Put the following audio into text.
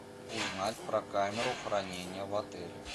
узнать про камеру хранения в отеле